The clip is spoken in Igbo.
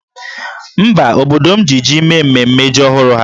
Mba, obodo m ji jí mee mmemme ji ọhụrụ ha